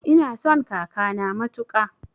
Ina son kakana matuƙa